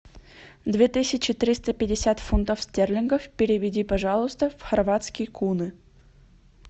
две тысячи триста пятьдесят фунтов стерлингов переведи пожалуйста в хорватские куны